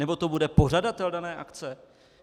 Nebo to bude pořadatel dané akce?